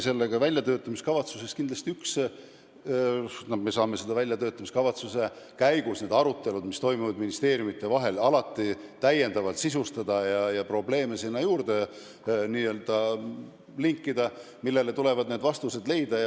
Väljatöötamiskavatsuse tegemise käigus toimuvad ministeeriumite vahel arutelud, alati saab seda täiendavalt sisustada ja sinna n-ö juurde linkida probleeme, millele tuleb vastused leida.